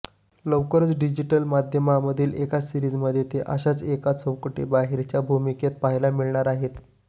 लवकरच डिजिटल माध्यमावरील एका सीरिजमध्ये ते अशाच एका चौकटीबाहेरच्या भूमिकेत पाहायला मिळणार आहेत